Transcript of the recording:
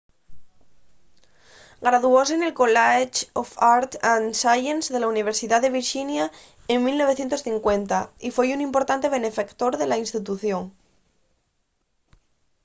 graduóse nel college of arts & sciences de la universidá de virxinia en 1950 y foi un importante benefactor de la institución